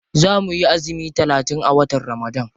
Za muyi azumi talatin a watan ramadan.